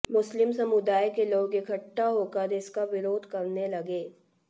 मुस्लिम समुदाय के लोग इकट्ठा होकर इसका विरोध करने लगे